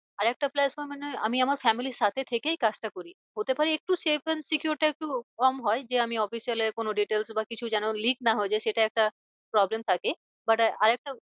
আর একটা plus point মানে আমি আমার family র সাথে থেকেই কাজটা করি। হতে পারে একটু safe and secure টা একটু কম হয়। যে আমি office এ হলো কোনো details বা কিছু যেন লিক না হয়ে যায় সেটা একটা problem থাকে but আর আর একটা